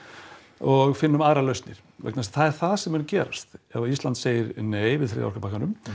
og finnum aðrar lausnir vegna þess að það er það sem mun gerast ef að Ísland segir nei við orkupakkanum